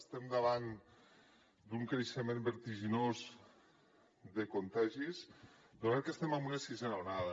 estem davant d’un creixement vertiginós de contagis donat que estem en una sisena onada